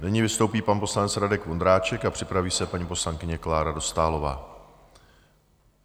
Nyní vystoupí pan poslanec Radek Vondráček a připraví se paní poslankyně Klára Dostálová.